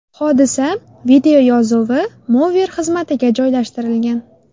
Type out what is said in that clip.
Hodisa videoyozuvi Mover xizmatiga joylashtirilgan .